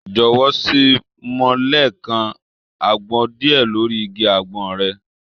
Jọ̀wọ́, ṣé mo lè ká àgbọn díẹ̀ lórí igi àgbọn rẹ̀?